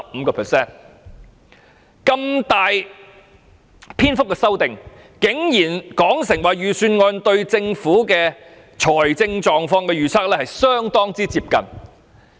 對於如此大幅的修訂，他竟然說道預算案對政府財政狀況的預測相當接近。